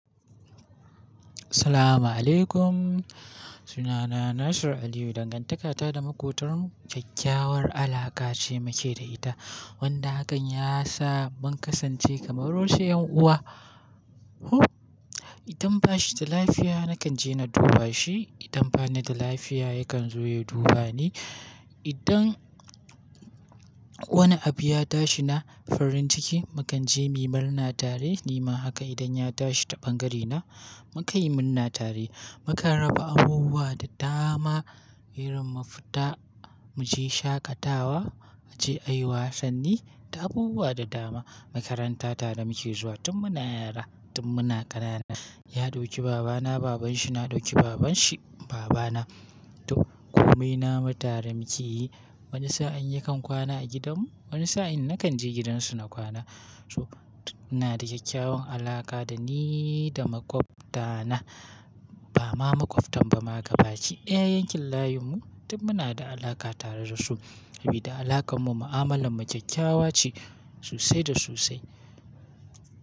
Assalamu alaikum. Sunana Nasir Aliyu. Dangantakata da maƙotar mu kyakkyawar alaƙa ce muke da ita wanda hakan ya sa mun kasance kamar wasu ƴan uwa. Idan ba shi da lafiya na kan je na duba shi, idan ba ni da lafiya ya kan zo ya duba ni. Idan wani abu ya tashi na farin ciki mu kan je mu yi murna tare. Nima haka idan ya tashi ta bangaren na mu kan yi murna tare. Mu kan raba abubuwa da dama. Irin mu fita mu je shaƙatawa, mu je a yi wasanni da abubuwa da dama. Makaranta tare muke zuwa tun muna yara tun muna ƙanana. Ya ɗauki baba na, baban shi na ɗauki baban shi baba na. To komai na mu tare mu ke yi. Wani sa'in yakan kwana a gidan mu, wani sa'in nakan je gidansu na kwana. So, ina da kyakkyawan alaƙa da ni da maƙwabta na. Ba ma maƙwabtan ba ma gabaki ɗaya yankin layin mu duk muna da alaƙa tare da su. Sabida alaƙar mu mu'amalar mu kyakkyawa ce sosai da sosai.